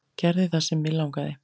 Gerði það sem mig langaði.